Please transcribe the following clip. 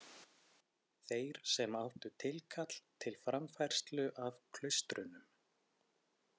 Þeir sem áttu tilkall til framfærslu af klaustrunum.